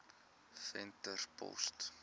venterspost